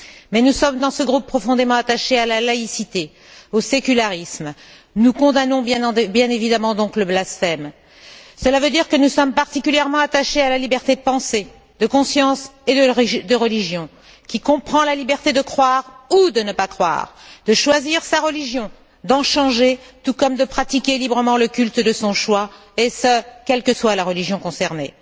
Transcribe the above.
Mais nous sommes, dans ce groupe, profondément attachés à la laïcité, au sécularisme. Nous condamnons bien évidemment donc le blasphème. Cela veut dire que nous sommes particulièrement attachés à la liberté de pensée, de conscience et de religion, qui comprend la liberté de croire ou de ne pas croire, de choisir sa religion, d'en changer, tout comme de pratiquer librement le culte de son choix et ce, quelle que soit la religion concernée.